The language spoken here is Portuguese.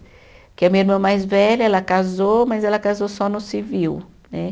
Porque a minha irmã mais velha, ela casou, mas ela casou só no civil, né?